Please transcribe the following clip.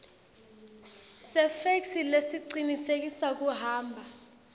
sefeksi lesicinisekisa kuhamba